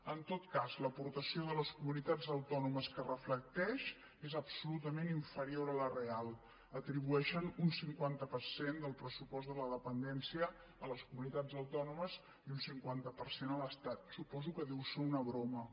en tot cas l’aportació de les comunitats autònomes que reflecteix és absolutament inferior a la real atribueixen un cinquanta per cent del pressupost de la dependència a les comunitats autònomes i un cinquanta per cent a l’estat suposo que deu ser una broma